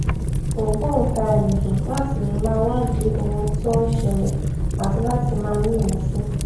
ògbòǹtarìgì láti lè máa wádìí ohun tó ń ṣẹlè àti láti máa ní ìmìsí